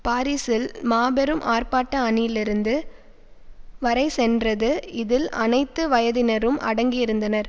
பாரிசில் மாபெரும் ஆர்ப்பாட்ட அணி லிருந்து வரை சென்றது இதில் அனைத்து வயதினரும் அடங்கியிருந்தனர்